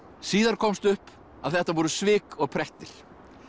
síðar komst upp að þetta voru svik og prettir